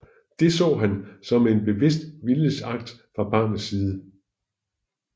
Det så han som en bevidst viljesakt fra barnets side